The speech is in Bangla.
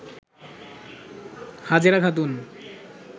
হাজেরা খাতুন